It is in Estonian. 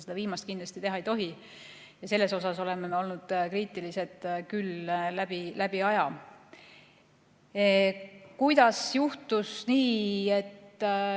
Seda viimast kindlasti teha ei tohi, selles osas oleme alati kriitilised olnud.